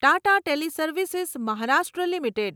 Tata teleservices Maharashtra limited